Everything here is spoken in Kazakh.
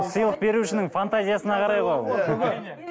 сыйлық берушінің фантазиясына қарай ғой